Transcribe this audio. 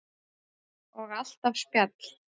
Og alltaf spjall.